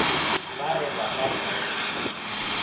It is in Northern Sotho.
ba re ba ka se